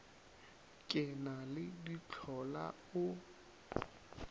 ke na le dihlola o